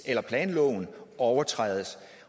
eller planloven overtrædes